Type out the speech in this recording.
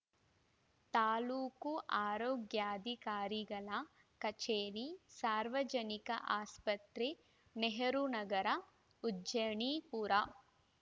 ತಾಲೂಕು ಆರೋಗ್ಯಾಧಿಕಾರಿಗಳ ಕಚೇರಿ ಸಾರ್ವಜನಿಕ ಆಸ್ಪತ್ರೆ ನೆಹರು ನಗರ ಉಜ್ಜನೀಪುರ